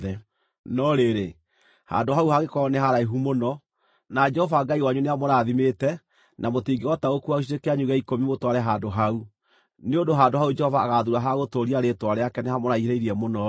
No rĩrĩ, handũ hau hangĩkorwo nĩ haraihu mũno, na Jehova Ngai wanyu nĩamũrathimĩte na mũtingĩhota gũkuua gĩcunjĩ kĩanyu gĩa ikũmi mũtware handũ hau (nĩ ũndũ handũ hau Jehova agaathuura ha gũtũũria Rĩĩtwa rĩake nĩhamũraihĩrĩirie mũno-rĩ),